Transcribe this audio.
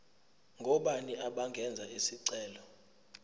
ngobani abangenza isicelo